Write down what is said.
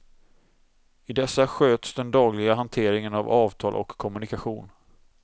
I dessa sköts den dagliga hanteringen av avtal och kommunikation.